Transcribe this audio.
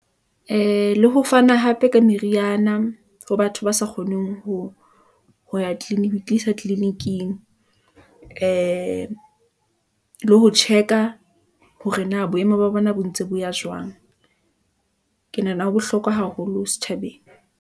Ee, le ho fana hape ka meriana ho batho ba sa kgoneng ho ya tlisa tleliniking , ee le ho check-a hore na boemo ba bona, bo ntse bo ya jwang . Ke nahana ho bohlokwa haholo setjhabeng.